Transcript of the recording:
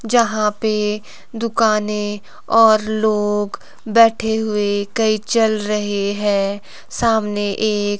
जहां पे दुकाने और लोग बैठे हुए कई चल रहे है सामने एक--